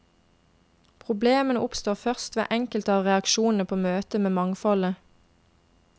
Problemene oppstår først ved enkelte av reaksjonene på møtet med mangfoldet.